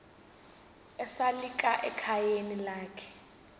esalika ekhayeni lakhe